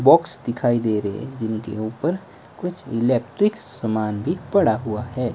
Box दिखाई दे रहे है जिनके ऊपर कुछ इलेक्ट्रिक सामान भी पड़ा हुआ है।